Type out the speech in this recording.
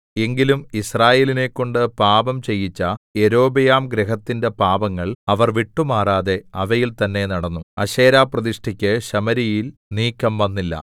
എങ്കിലും യിസ്രായേലിനെക്കൊണ്ട് പാപം ചെയ്യിച്ച യൊരോബെയാംഗൃഹത്തിന്റെ പാപങ്ങൾ അവർ വിട്ടുമാറാതെ അവയിൽ തന്നേ നടന്നു അശേരാപ്രതിഷ്ഠയ്ക്ക് ശമര്യയിൽ നീക്കംവന്നില്ല